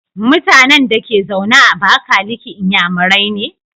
MutAnan Dake zaune a abakaliki inyamurai ne?